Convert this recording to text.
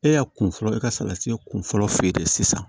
E y'a kun fɔlɔ e ka salati kun fɔlɔ feere de sisan